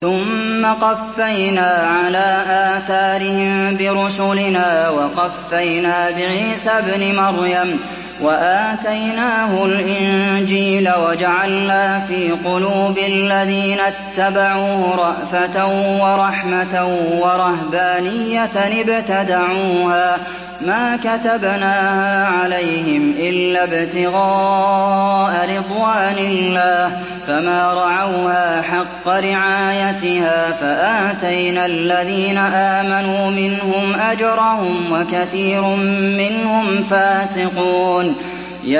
ثُمَّ قَفَّيْنَا عَلَىٰ آثَارِهِم بِرُسُلِنَا وَقَفَّيْنَا بِعِيسَى ابْنِ مَرْيَمَ وَآتَيْنَاهُ الْإِنجِيلَ وَجَعَلْنَا فِي قُلُوبِ الَّذِينَ اتَّبَعُوهُ رَأْفَةً وَرَحْمَةً وَرَهْبَانِيَّةً ابْتَدَعُوهَا مَا كَتَبْنَاهَا عَلَيْهِمْ إِلَّا ابْتِغَاءَ رِضْوَانِ اللَّهِ فَمَا رَعَوْهَا حَقَّ رِعَايَتِهَا ۖ فَآتَيْنَا الَّذِينَ آمَنُوا مِنْهُمْ أَجْرَهُمْ ۖ وَكَثِيرٌ مِّنْهُمْ فَاسِقُونَ